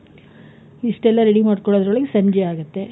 ಇಷ್ಟೆಲ್ಲ ready ಮಾಡ್ಕೊಳೊದ್ರೊಳಗೆ ಸಂಜೆ ಆಗುತ್ತೆ.